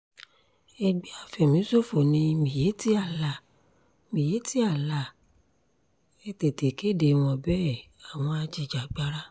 ẹgbẹ́ àfẹ̀míṣòfò ni miyetti allah miyetti allah ẹ̀ tètè kéde wọn bẹ́ẹ̀ àwọn ajìjàgbara